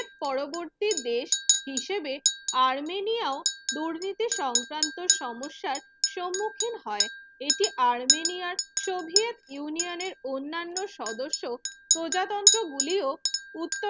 পরবর্তী দেশ হিসেবে আর্মেনিয়াও স্মৃতি সংক্রান্ত সমস্যার সম্মুখীন হয় এতে আর্মেনিয়া সোভিয়েত union এর অন্যান্য সদস্য প্রজাতন্ত্র গুলিও উত্ত